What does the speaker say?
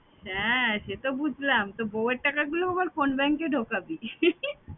হ্যাঁ সেতো বুঝলাম তা বউ এর টাকাগুলো আবার কোন bank এ ঢুকাবি